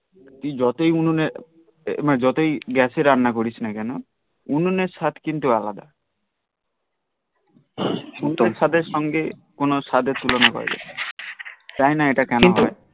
তুই যতই উননে মানে যতই গ্যাসে রান্না করিসনা কেন উননের স্বাদ কিন্তু আলাদা উননের স্বাদ এর সঙ্গে কোন স্বাদ এর তুলনা করা যাই না জানি না এটা কেন হই